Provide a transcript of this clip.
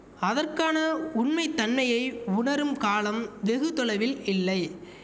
அதற்கான உண்மைத்தன்னையை உணரும் காலம் வெகு தொலைவில் இல்லை